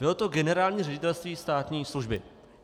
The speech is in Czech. Bylo to Generální ředitelství státní služby.